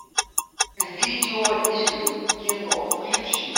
видеоигры кино включи